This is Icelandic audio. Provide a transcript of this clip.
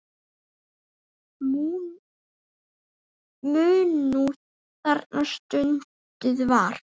Munúð þarna stunduð var.